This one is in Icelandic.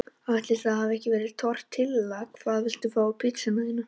Ætli það hafi ekki verið tortilla Hvað vilt þú fá á pizzuna þína?